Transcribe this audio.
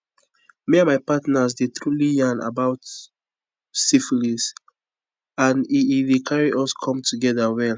me and my partner the truely yarn about syphilis and e e dey carry us come together well